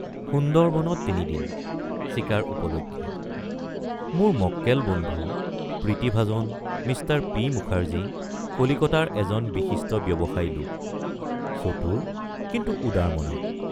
সুন্দৰবনত তিনিদিন—চিকাৰ উপলক্ষে মোৰ মক্কেল বন্ধু প্ৰীতিভাজন মিঃ পি মুখাৰ্জী কলিকতাৰ এজন বিশিষ্ট ব্যৱসায়ী লোক চতুৰ কিন্তু উদাৰমনা।